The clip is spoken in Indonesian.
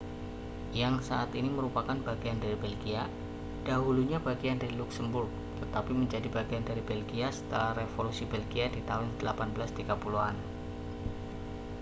yang saat ini merupakan bagian dari belgia dahulunya bagian dari luksemburg tetapi menjadi bagian dari belgia setelah revolusi belgia di tahun 1830-an